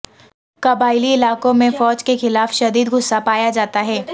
قبائلی علاقوں میں فوج کے خلاف شدید غصہ پایا جاتا ہے